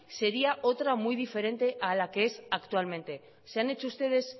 sería otra muy diferente a la que es actualmente se han hecho ustedes